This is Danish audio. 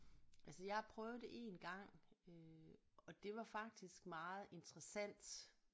Altså jeg har prøvet det én gang øh og det var faktisk meget interessant